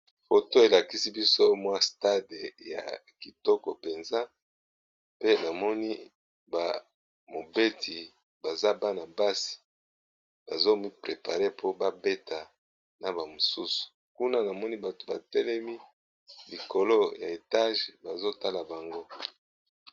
Photo elakisi biso stade ya kitoko penza pe ba mobeti baza Bana basi bazo mi préparer po ba beta na ba mosusu kuna namoni bato baso Tala bango.